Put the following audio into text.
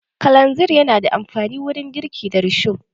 Kalanzir na da amfani wurin girki da risho